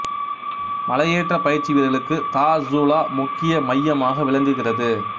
மலை ஏற்றப் பயிற்சி வீரர்களுக்கு தார்சூலா முக்கிய மையமாக விளங்குகிறது